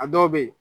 A dɔw bɛ yen